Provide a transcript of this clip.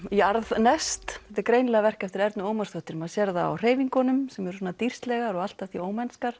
jarðneskt þetta er greinilega verk eftir Ernu Ómarsdóttur maður sér það á hreyfingunum sem eru dýrslegar og allt að því